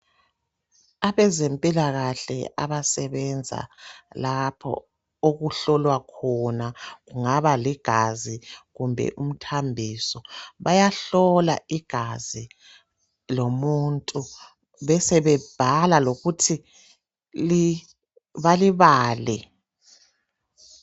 Abezempilakahle abasebenza lapho okuhlolwa khona kungaba ligazi kumbe umthambiso bayahlola igazi lomuntu besebebhala lokuthi li balibale.